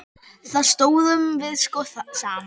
Þá stóðum við sko saman.